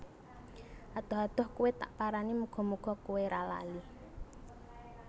Adoh adoh kowe tak parani muga muga kowe ra lali